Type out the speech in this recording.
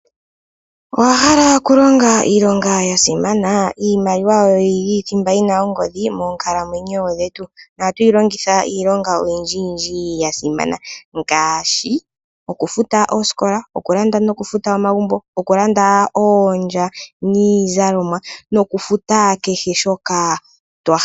Owa hala okulonga iilonga ya simana? Iimaliwa oyo yili thimba yina ongodhi moonkalamwenyo dhetu. Nohatu yi longitha iilonga oyindji yindji ya simana. Ngaashi okufuta oosikola, okulanda nokufuta omagumbo , okulanda oondya niizalomwa nokufuta kehe shoka twa hala.